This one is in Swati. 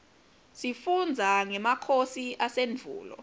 sifundza ngemakhosi asendvulo